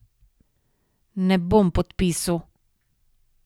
Ne bom podpisu!